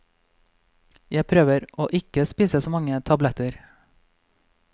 Jeg prøver å ikke spise så mange tabletter.